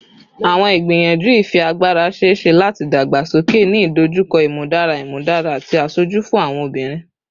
Awọn igbiyanju ifiagbara ṣee ṣe lati dagbasoke, ni idojukọ imudara imudara ati aṣoju fun awọn obinrin